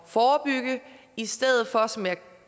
forebygge i stedet for som jeg